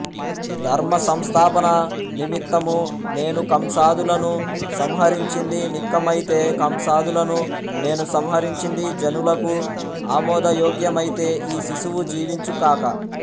ధర్మసంస్థాపన నిమిత్తము నేను కంసాదులను సంహరించింది నిక్కమైతే కంసాదులను నేను సంహరించింది జనులకు ఆమోదయోగ్యమైతే ఈ శిశువు జీవించు కాక